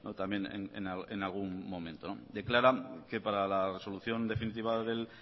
también en algún momento declaran que para la resolución definitiva del